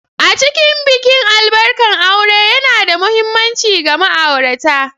A cikin bikin albarkan aure yana da mahimmanci ga ma'aurata.